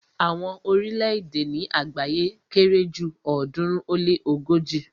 Àwọn orílẹ̀-èdè ni àgbáyé kere ju ọ̀ọ́dúnrún ó lé ogoji